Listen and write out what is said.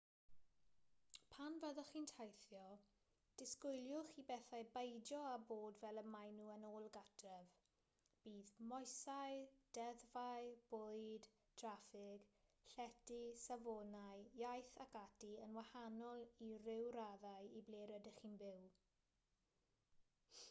pan fyddwch chi'n teithio disgwyliwch i bethau beidio â bod fel y maen nhw yn ôl gartref bydd moesau deddfau bwyd traffig llety safonau iaith ac ati yn wahanol i ryw raddau i ble rydych chi'n byw